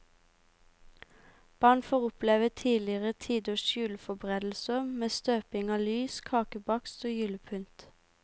Barn får oppleve tidligere tiders juleforberedelser med støping av lys, kakebakst og julepynt.